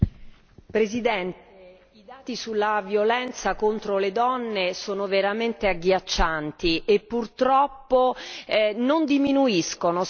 I dati sulla violenza contro le donne sono veramente agghiaccianti e purtroppo non diminuiscono, sono sempre gli stessi.